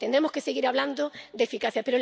tendremos que seguir hablando de eficacia.